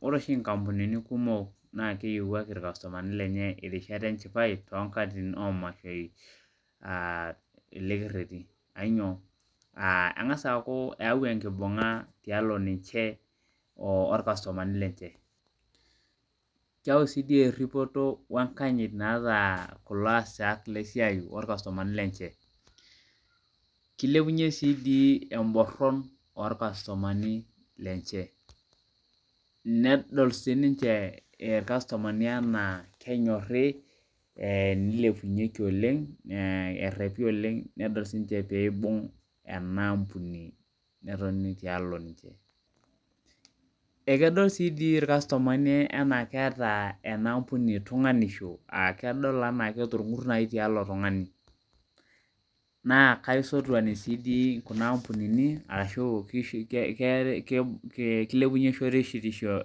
Ore oshi inkampunini kumok naa keyiewuaki oshi ilkastumani lenye irishat enchipai toonkatitin amashoi aa ele kerheti aa ainyoo? Eng'as aaku eeu enkibunga tialo ninche olkastumani, keyai sii erhipoto naata kulo aasak le siai olkastumani lunche Kilepunye sii dii emborhon olkastumani lenche nedol siiniche ilkastumani enaa kenyorhi nilepunyeki oleng erhepi oleng nidol siininje piibung' ena ambuni netoni tialo ninche Ekedol naa sii ilkastumani enaa keeta tunganisho, kedol enaa keeta olng'ur nai tialo tungani naa kaisotuni sii dii kuna mbunini ashu kilepunye shoruetisho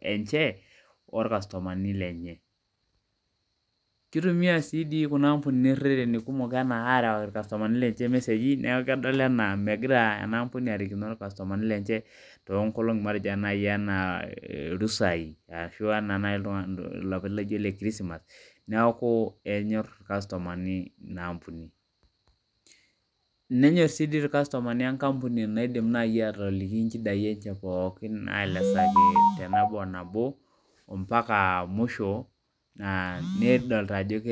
enche olkastumani lenche Kitumia sii erhrheni kumok enaa arewaki ilkastumani lenche imeseji niaku kedol enaa megira ena ambuni arikino ilkastumani lenche toonkolongi matejo nai enaa rusai ashu enaa nai ilapaitin laijo ile kirosimas niaku enyor ilkastumani ina ampuni Nenyor sii dii ilkastumani enkampuni naidim nai atoliki injidai enche pookin naelezakini te nabo o nabo nedolita ajo ke